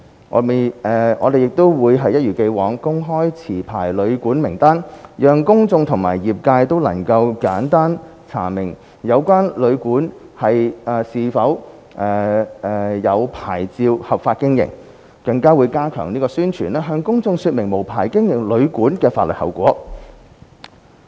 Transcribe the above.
我們亦會一如既往，公開持牌旅館名單，讓公眾和業界都能簡單查明有關旅館是否持有牌照合法經營，更會加強宣傳，向公眾說明無牌經營旅館的法律後果。